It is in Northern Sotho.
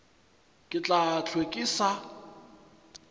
ke tla hlwe ke sa